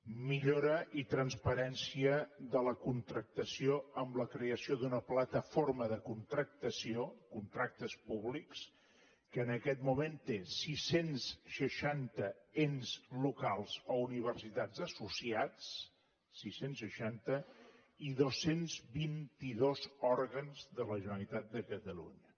millora i transparència de la contractació amb la creació d’una plataforma de contractació contractes públics que en aquest moment té sis cents i seixanta ens locals o universitats associats sis cents i seixanta i dos cents i vint dos òrgans de la generalitat de catalunya